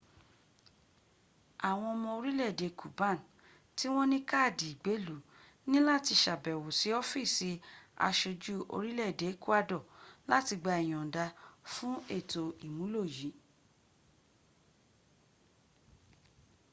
àwọn ọmọ orìlé-èdè cuban tí wọ́n ní káàdì ìgbéèlú ní láti sàbẹ̀wò sí ọ́fíìsì asojú orìlé-èdè ecuador láti gba ìyònda fún ètò ìmúlò yí